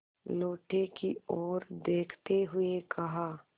लोटे की ओर देखते हुए कहा